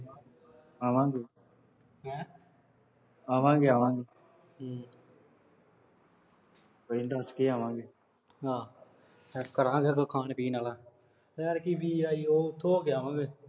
ਆਵਾਂਗੇ। ਹੈਂ। ਆਵਾਂਗੇ ਹਮ ਦੱਸ ਕੇ ਆਵਾਂਗੇ। ਹਾਂ। ਫਿਰ ਕਰਾਂਗੇ ਉਦੋਂ ਖਾਣ ਪੀਣ ਆਲਾ। ਉਹ ਯਰ ਕੀ ਚੀਜ਼ ਦਾ ਉਰੋ ਉੱਥੋਂ ਹੋ ਕੇ ਆਵਾਂਗੇ।